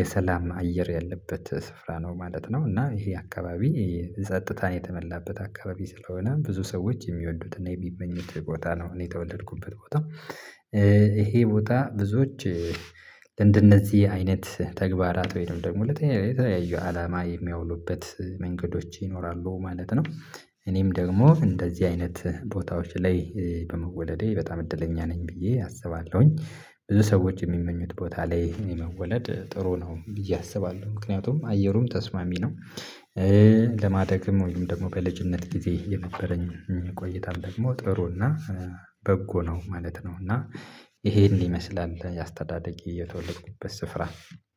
የሰላም አየር ያለበት ስፍራ ነው ማለት ነው። እና ይህ አካባቢ ጸጥታን የተሞላበት አካባቢ ስለሆነ ብዙ ሰዎች የሚወዱትና የሚመኙት ቦታ ነው። እኔ የተወለድኩበት ቦታ። ይሄ ቦታ ብዙዎች እንደነዚህ አይነት ተግባራት ወይንም ደግሞ ለተለያዩ አላማ የሚያውሉበት መንገዶች ይኖራሉ ማለት ነው። እኔም ደግሞ እንደዚህ አይነት ቦታዎች ላይ በመወለዴ በጣም እድለኛ ነኝ ብዬ አስባለሁኝ። ብዙ ሰዎች እሚመኙት ቦታ ላይ ይሄን መወለድ ጥሩ ነው ብዬ አስባለሁ ምክንያቱም አየሩም ተስማሚ ነው። ለማደግም ወይም ደግሞ በልጅነት ጊዜ የነበረኝ ቆይታም ደግሞ ጥሩና በጎ ነው ማለት ነው። እና ይሄን ይመስላል የአስተዳደጌ የተወለድኩበት ስፍራ